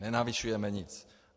Nenavyšujeme nic.